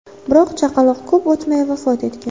Biroq chaqaloq ko‘p o‘tmay vafot etgan.